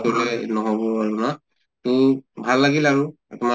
কৰিলে ন্হʼব আৰু না তহ ভাল লাগিল আৰু তোমাৰ